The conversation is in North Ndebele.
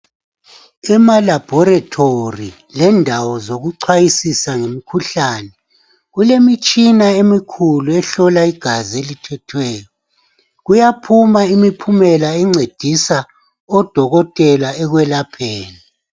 Emalabhorethori lendawo zokuchwayisisa ngemikhuhlane kulemitshina emikhulu ehlola igazi elithethweyo. Kuyaphuma imiphumela encedisa odokotela ekwelapheni.